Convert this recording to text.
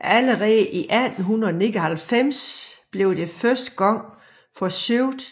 Allerede i 1899 blev det første gang forsøgt